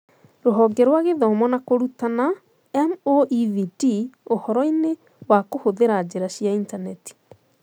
Rũhonge rwa gĩthomo and na kũrutana (MoEVT) ũhoroinĩ wa kũhũthĩra njĩra cia intaneti